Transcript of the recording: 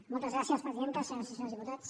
moltes gràcies presidenta senyores i senyors diputats